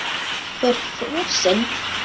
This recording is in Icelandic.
Þú ert frosin.